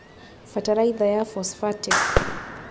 Bataraitha ya phosphatic